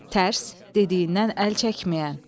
Tərs, dediyindən əl çəkməyən.